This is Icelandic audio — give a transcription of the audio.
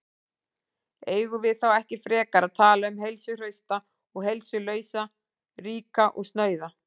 Eigum við þá ekki frekar að tala um heilsuhrausta og heilsulausa, ríka og snauða?